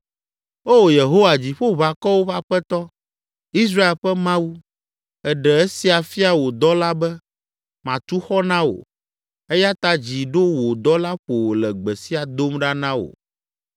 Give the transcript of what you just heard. “Oo Yehowa Dziƒoʋakɔwo ƒe Aƒetɔ, Israel ƒe Mawu, èɖe esia fia wò dɔla be, ‘Matu xɔ na wò.’ Eya ta dzi ɖo wò dɔla ƒo wòle gbe sia dom ɖa na wò.